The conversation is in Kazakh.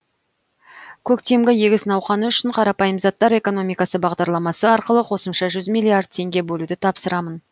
көктемгі егіс науқаны үшін қарапайым заттар экономикасы бағдарламасы арқылы қосымша жүз миллиард теңге бөлуді тапсырамын